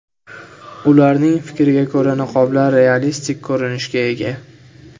Ularning fikriga ko‘ra, niqoblar realistik ko‘rinishga ega.